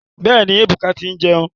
Bẹ́ẹ̀ni, Ebuka ti ń jẹun.